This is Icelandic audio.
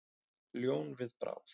Ljón við bráð.